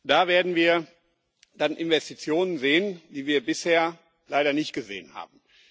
Da werden wir dann Investitionen sehen, die wir bisher leider nicht gesehen haben.